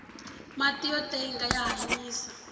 mati yo tenga ya hanyisa